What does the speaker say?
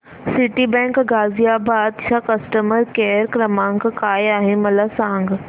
Citibank Ghaziabad चा customer care क्रमांक काय आहे मला सांग